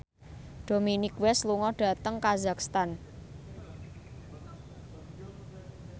Dominic West lunga dhateng kazakhstan